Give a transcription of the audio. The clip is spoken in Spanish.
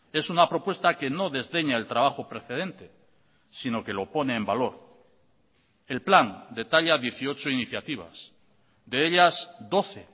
es una propuesta que no desdeña el trabajo precedente sino que lo pone en valor el plan detalla dieciocho iniciativas de ellas doce